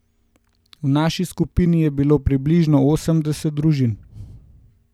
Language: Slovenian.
V naši skupini je bilo približno osemdeset družin.